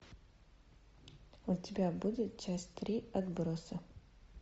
у тебя будет часть три отбросы